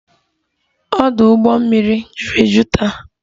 Ọdụ ụgbọ mmiri juru eju taa